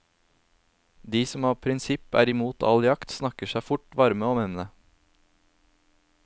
De som av prinsipp er imot all jakt, snakker seg fort varme om emnet.